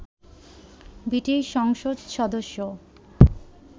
British সংসদ সদস্য